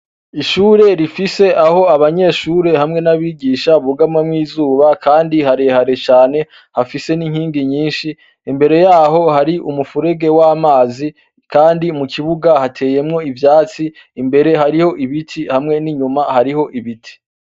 Ishure rifise aho abanyeshure hamwe n'abigisha bugamawo izuba kandi harehare cane hafise n'inkingi nyinshi imbere yaho hari umufurege w'amazi kandi mu kibuga hateyemwo ivyatsi imbere hariho ibiti n'inyuma hariho ibiti.